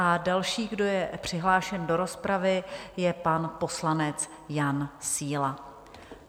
A další, kdo je přihlášen do rozpravy, je pan poslanec Jan Síla.